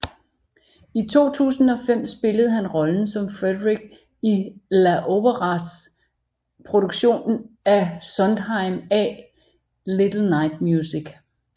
I 2005 spillede han rollen som Frederic i LA Operas produktion af Sondheims A Little Night Music